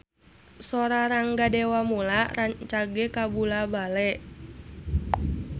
Sora Rangga Dewamoela rancage kabula-bale